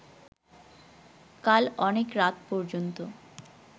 কাল অনেক রাত পর্যন্ত